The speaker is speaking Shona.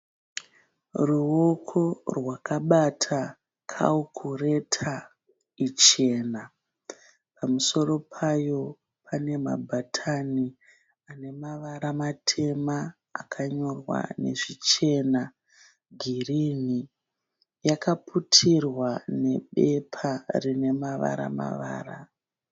Ruoko rwakabata kawukureta ichena, pamusoro payo pane mabhatani ane mavara matema akanyorwa nezvichena girini, yakaputirwa nebepa rine mavara mavara.